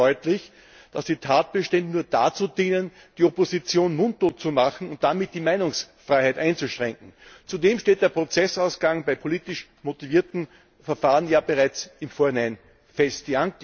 Es wird also deutlich, dass die Tatbestände nur dazu dienen, die Opposition mundtot zu machen und damit die Meinungsfreiheit einzuschränken. Zudem steht der Prozessausgang bei politisch motivierten Verfahren bereits im Vorhinein fest.